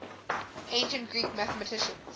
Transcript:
ancient greek mathematicians